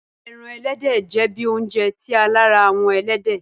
Ẹ́ran ẹlẹdẹ jẹ̀ bí ọ̀unjẹ̀ ti a làárà awọn ẹlẹdẹ.